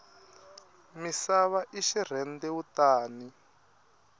misava i xirhendewutani